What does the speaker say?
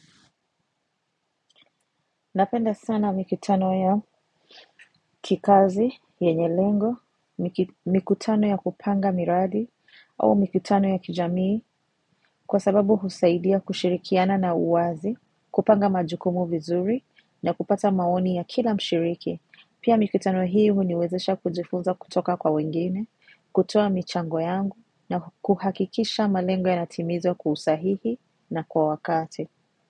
Napenda sana mikutano ya kikazi, yenye lengo, mikutano ya kupanga miradi au mikutano ya kijamii kwa sababu husaidia kushirikiana na uwazi, kupanga majukumu vizuri na kupata maoni ya kila mshiriki. Pia mikutano hii uniwezesha kujifunza kutoka kwa wengine, kutoa michango yangu na kuhakikisha malengo yanatimizwa kwa husahihi na kwa wakati.